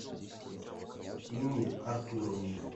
инне артуровне